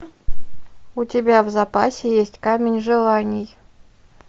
у тебя в запасе есть камень желаний